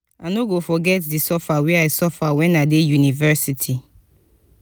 i no go forget di suffer wey i suffer wen i dey university.